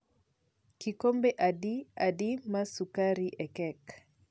kikombe adi adi mar sugari e kek